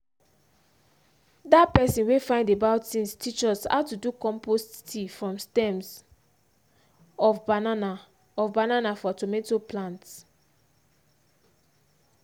that person wey find about things teach us how to do compost tea from the stems of banana of banana for tomato plants